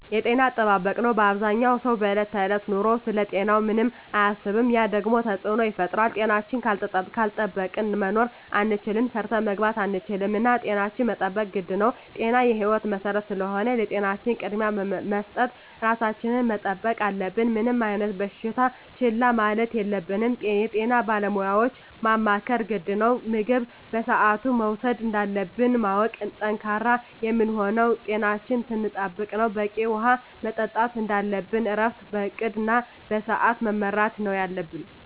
የጤና አጠባበቅ ነው አበዛኛው ሰው በዕለት ከዕለት ኑሮው ስለ ጤናው ምንም አያስብም ያ ደግሞ ተፅዕኖ ይፈጥራል። ጤናችን ካልጠበቅን መኖር አንችልም ሰርተን መግባት አንችልም እና ጤናችን መጠበቅ ግድ ነው ጤና የህይወት መሰረት ስለሆነ ለጤናችን ቅድሚያ በመስጠት ራሳችን መጠበቅ አለብን። ምንም አይነት በሽታ ችላ ማለት የለብንም የጤና ባለሙያዎችን ማማከር ግድ ነው። ምግብ በስአቱ መውሰድ እንዳለብን ማወቅ። ጠንካራ የምንሆነው ጤናችን ስንጠብቅ ነው በቂ ውሀ መጠጣት እንደለብን እረፍት በእቅድ እና በስዐት መመራት ነው የለብን